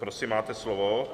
Prosím, máte slovo.